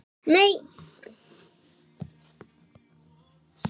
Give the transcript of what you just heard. Eir er læknir